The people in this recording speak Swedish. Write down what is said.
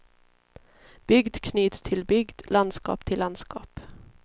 Bygd knyts till bygd, landskap till landskap.